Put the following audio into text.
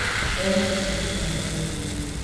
Erĩ acio nĩmarendaine mũno